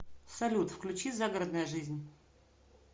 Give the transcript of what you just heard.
салют включи загородная жизнь